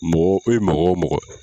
Mɔgɔ, e mɔgɔ mɔgɔ